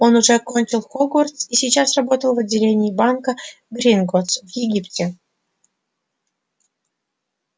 он уже окончил хогвартс и сейчас работал в отделении банка гринготтс в египте